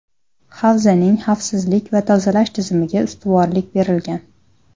Havzaning xavfsizlik va tozalash tizimiga ustuvorlik berilgan.